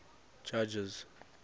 judges